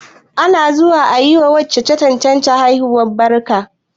Ana zuwa ayi wa wacce ta haihu barka